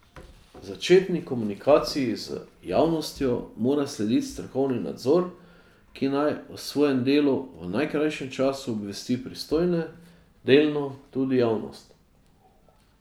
Začetni komunikaciji z javnostjo mora slediti strokovni nadzor, ki naj o svojem delu v najkrajšem času obvesti pristojne, delno tudi javnost.